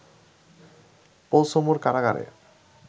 পোলসমুর কারাগারে